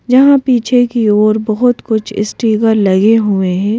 जहां पीछे की ओर बहुत कुछ स्टीकर लगे हुए हैं।